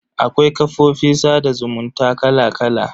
Akwai kafofin sada zumunta kala kala.